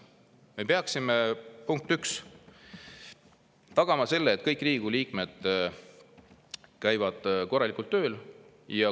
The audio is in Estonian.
Me peaksime, punkt üks, tagama selle, et kõik Riigikogu liikmed käivad korralikult tööl.